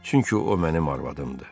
çünki o mənim arvadımdır.